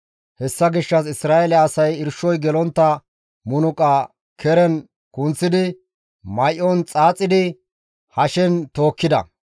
Hessa gishshas Isra7eele asay irshoy gelontta munuqa keren kunththi may7on xaaxidi hashen tookkides.